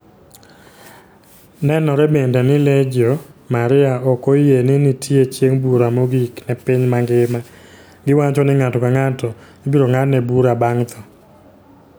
Nenore bende ni Legio Maria ok oyie ni nitie chieng' bura mogik ne piny mangima. Giwacho ni ng'ato ka ng'ato ibiro ng'adne bura bang' tho.